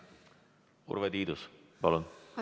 Urve Tiidus, palun!